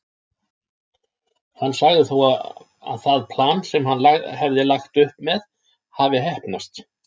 Hann sagði þó það plan sem hann hafði lagt upp með hafa heppnast.